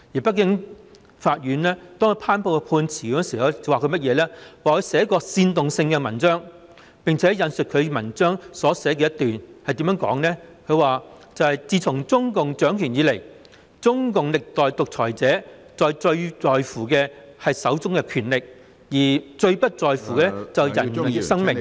北京法院頒布判詞時說他曾撰寫煽動性文章，並且引述其文章中一段話，內容如下："自從中共掌權以來，中共歷代獨裁者最在乎的是手中的權力，而最不在乎的是人的生命"......